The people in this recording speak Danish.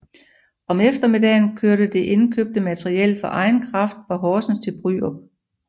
Om eftermiddagen kørte det indkøbte materiel for egen kraft fra Horsens til Bryrup